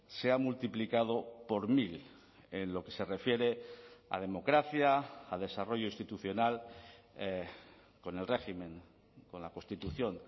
se ha multiplicado por mil en lo que se refiere a democracia a desarrollo institucional con el régimen con la constitución